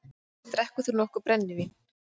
Drekkur þú nokkuð brennivín?